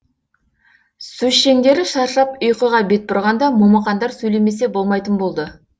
сөзшеңдері шаршап ұйқыға бет бұрғанда момақандар сөйлемесе болмайтын болды